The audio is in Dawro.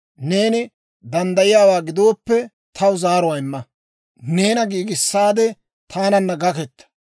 Neeni danddayiyaawaa gidooppe, taw zaaruwaa imma; neena giigissaade, taananna gakketa.